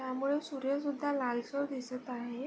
त्यामुळे सूर्यसुद्धा लालसर दिसत आहे.